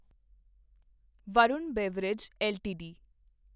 Varun beverage LTD